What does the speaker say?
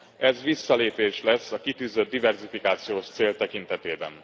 Ez visszalépés lesz a kitűzött diverzifikációs cél tekintetében.